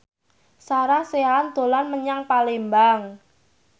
Sarah Sechan dolan menyang Palembang